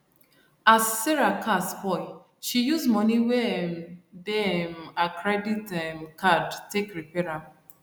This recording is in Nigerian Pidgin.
as sarah car spoil she use moni wey um dey um her credit um card take repair am